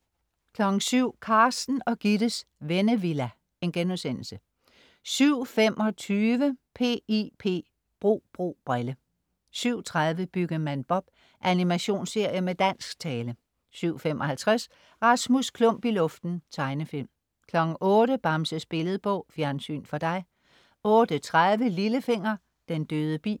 07.00 Carsten og Gittes Vennevilla* 07.25 P.I.P. Bro bro brille 07.30 Byggemand Bob. Animationsserie med dansk tale 07.55 Rasmus Klump i luften. Tegnefilm 08.00 Bamses Billedbog. Fjernsyn for dig 08.30 Lillefinger. Den døde bi